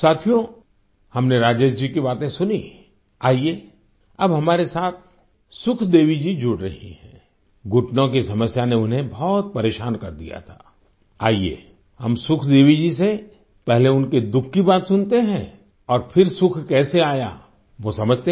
साथियो हमने राजेश जी की बातें सुनी आइये अब हमारे साथ सुख देवी जी जुड़ रही हैं घुटनों की समस्या ने उन्हें बहुत परेशान कर दिया था आइये हम सुखदेवी जी से पहले उनके दुःख कि बात सुनते हैं और फिर सुख कैसे आया वो समझते हैं